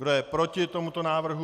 Kdo je proti tomuto návrhu?